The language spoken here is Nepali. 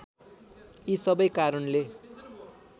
यी सबै कारणले